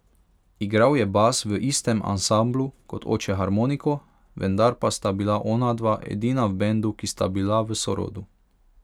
Igral je bas v istem ansamblu kot oče harmoniko, vendar pa sta bila onadva edina v bendu, ki sta bila v sorodu.